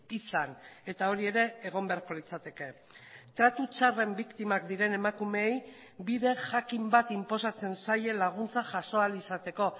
izan eta hori ere egon beharko litzateke tratu txarren biktimak diren emakumeei bide jakin bat inposatzen zaie laguntza jaso ahal izateko